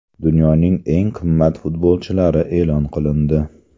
Dunyoning eng qimmat futbolchilari e’lon qilindi.